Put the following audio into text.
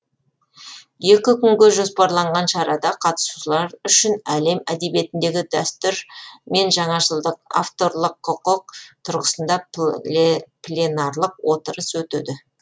екі күнге жоспарланған шарада қатысушылар үшін әлем әдебиетіндегі дәстүр мен жаңашылдық авторлық құқық тұрғысында пленарлық отырыс өтеді